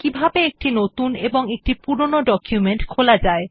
কিভাবে একটি নতুন এবং একটি পুরনো ডকুমেন্ট খোলা যায়